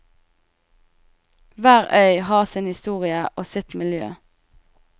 Hver øy har sin historie og sitt miljø.